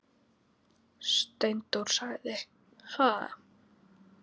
Steindór sagði: Ha?